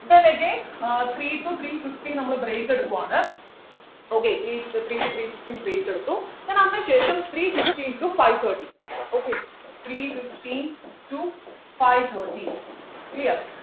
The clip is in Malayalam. then again uh three to three fifteen നമ്മള് break എടുക്കുവാണ് okay three to three fifteen break എടുത്തു അതിനുശേഷം three fifteen to five thirty okay three fifteen to five thirty clear